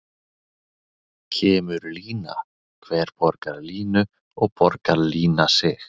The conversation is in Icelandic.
Kemur lína, hver borgar línu og borgar lína sig?